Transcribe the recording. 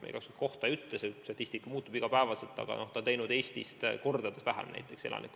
Ma igaks juhuks kohta ei ütle, see statistika muutub iga päev, aga Ukraina on teinud elanikkonna kohta teste kordades vähem kui Eesti.